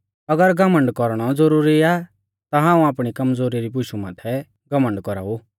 अगर घमण्ड कौरणौ ज़रूरी आ ता हाऊं आपणी कमज़ोरी री बुशु माथै घमण्ड कौराऊ